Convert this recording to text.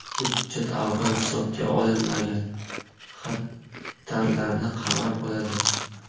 Hujjat avval hisobga olinmagan xatarlarni qamrab oladi.